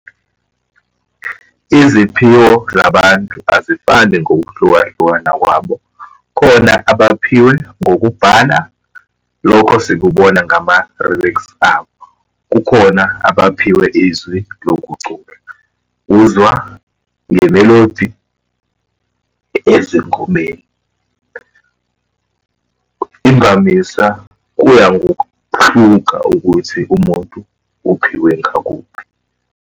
Iziphiwo zabantu azifani ngokuhlukahlukana kwabo. Khona abaphiwe ngokubhala, lokho sikubona ngama-remix abo. Kukhona abaphiwe izwi lokucula, uzwa nge-melody ezingomeni. Imvamisa kuya ngokuhluka ukuthi umuntu uphiwe ngakuphi.